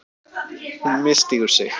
Hún misstígur sig.